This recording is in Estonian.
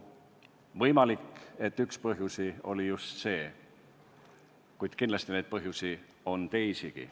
Võimalik, et üks põhjuseid oli just see, kuid kindlasti oli põhjuseid teisigi.